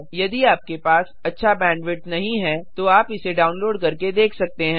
यदि आपके पास अच्छा बैंडविड्थ नहीं है तो आप इसे डाउनलोड करके देख सकते हैं